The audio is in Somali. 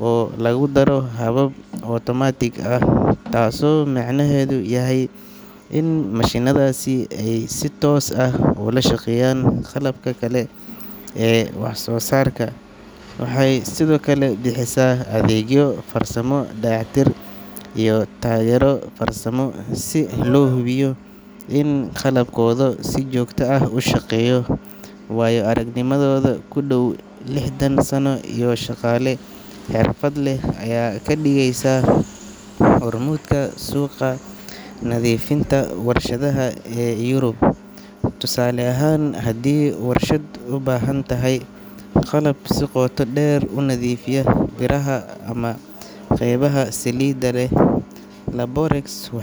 oo lagu daro habab otomaatig ah, taasoo macnaheedu yahay in mashiinnadaasi ay si toos ah ula shaqeeyaan qalabka kale ee wax soo saarka. Waxay sidoo kale bixisaa adeegyo farsamo, dayactir, iyo taageero farsamo si loo hubiyo in qalabkooda si joogto ah u shaqeeyo. Waayo-aragnimadooda ku dhow lixdan sano iyo shaqaale xirfad leh ayaa ka dhigaysa hormuudka suuqa nadiifinta warshadaha ee Yurub. Tusaale ahaan, haddii warshad u baahan tahay qalab si qoto dheer u nadiifiya biraha ama qaybaha saliidda leh, Laborex.